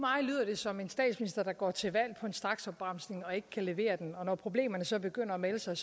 som en statsminister der går til valg på en straksopbremsning og ikke kan levere den og når problemerne så begynder at melde sig